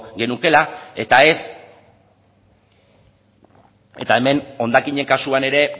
genukeela eta ez eta hemen hondakinen kasuan ere